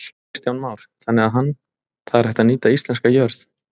Kristján Már: Þannig að hann, það er hægt að nýta íslenska jörð?